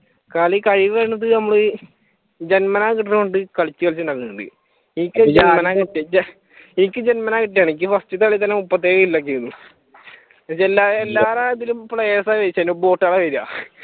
കളി കയ്യിൽ വരുന്നത് നമ്മൾ ജന്മനാ കിട്ടുന്നതുകൊണ്ട് കളിച്ചുകളിച്ചു ഉണ്ടാക്കുന്നുണ്ട് എനിക്ക് ജന്മനാ കിട്ടിയതാണ് എനിക്ക് ഫാർസ്റ്റത്തെ കളിയിൽ തന്നെ മുപ്പത്തയ്യിരം ഒക്കെ ആയിരുന്നു എല്ലാ രാജ്യത്തും players ആണ് ജയിച്ചേക്കുന്നേ വരുക.